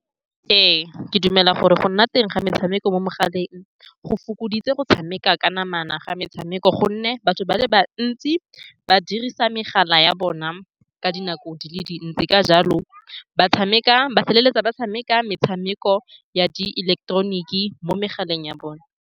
Ee, ke dumela gore go nna teng ga metshameko mo megaleng go fokoditse go tshameka ka namana ga metshameko, ka gonne batho ba le bantsi ba dirisa megala ya bona ka dinako di le dintsi. Ka jalo, ba tshameka ba feleletsa ba tshameka metshameko ya di ileketeroniki mo megaleng ya bona.